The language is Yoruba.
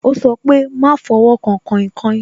Ó sọ pé "máa fọwọ́ kan kainkain"